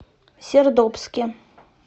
сердобске